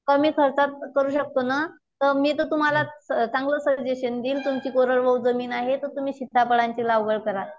कमी खर्चात करू शकतो ना, तर मी जर तुम्हाला चांगलं सजेशन देईल तुमची कोरडवाहू जमीन आहे तर तुम्ही सीताफळाची लागवड करा.